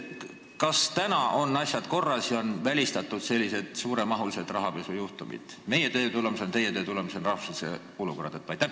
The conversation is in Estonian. Kas nüüd on asjad korras ja sellised suuremahulised rahapesujuhtumid on meie ja teie töö tulemusel välistatud?